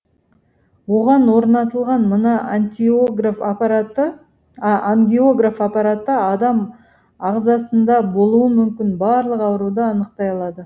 оған орнатылған мына ангиограф аппараты адам ағзасында болуы мүмкін барлық ауруды анықтай алады